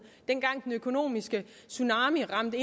dengang den økonomiske tsunami ramte